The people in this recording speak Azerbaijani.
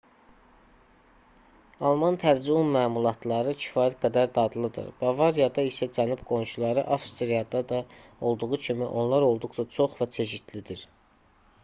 alman tərzi un məmulatları kifayət qədər dadlıdır bavariyada isə cənub qonşuları avstriyada da olduğu kimi onlar olduqca çox və çeşidlidir